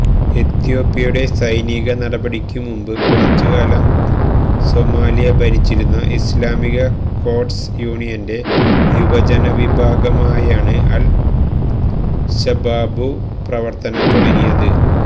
എത്യോപ്യയുടെ സൈനിക നടപടിക്കുമുമ്പ് കുറച്ചുകാലം സൊമാലിയ ഭരിച്ചിരുന്ന ഇസ്ലാമിക കോർട്സ് യൂണിയന്റെ യുവജന വിഭാഗമായാണ് അൽ ശബാബു് പ്രവർത്തനം തുടങ്ങിയത്